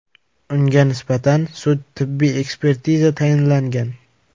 Unga nisbatan sud-tibbiy ekspertiza tayinlangan.